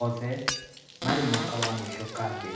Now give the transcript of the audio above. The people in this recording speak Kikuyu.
Othe marĩ mwaka wa mũico kambĩ.